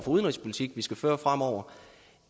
udenrigspolitik vi skal føre fremover